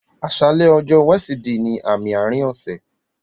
Aṣàlẹ̀ ọ̀jọ̀ọ̀ wẹ̀sídìì ní àmì àárín ọṣẹ̀